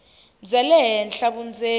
bya le henhla vundzeni